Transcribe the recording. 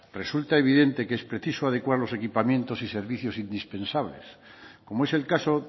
resulta evidente que es preciso adecuar los equipamientos y servicios indispensables como es el caso